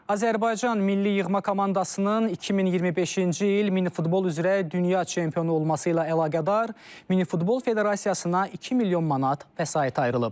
Azərbaycan Milli yığma komandasının 2025-ci il mini futbol üzrə dünya çempionu olması ilə əlaqədar mini futbol Federasiyasına 2 milyon manat vəsait ayrılıb.